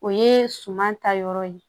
O ye suman ta yɔrɔ ye